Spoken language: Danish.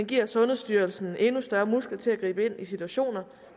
giver sundhedsstyrelsen endnu større muskler til at gribe ind i situationer